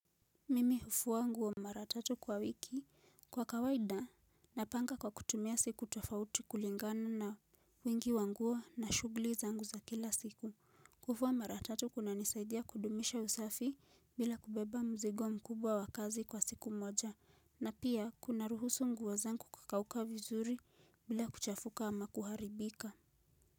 Mimi hufua nguo mara tatu kwa wiki kwa kawaida napanga kwa kutumia siku tofauti kulingana na wingi wa nguo na shughuli zangu za kila siku. Kufua mara tatu kunanisaidia kudumisha usafi bila kubeba mzigo mkubwa wa kazi kwa siku moja na pia kunaruhusu nguo zangu kakauka vizuri bila kuchafuka ama kuharibika.